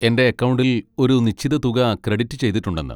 എന്റെ അക്കൗണ്ടിൽ ഒരു നിശ്ചിത തുക ക്രെഡിറ്റ് ചെയ്തിട്ടുണ്ടെന്ന്.